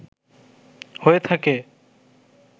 হয়ে থাকে